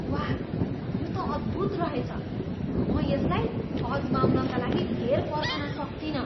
वाह, यो त अद्भुत रहेछ! म यसलाई आजमाउनका लागि धेर पर्खन सक्तिनँ।